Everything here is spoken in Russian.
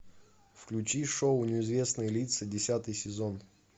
включи шоу неизвестные лица десятый сезон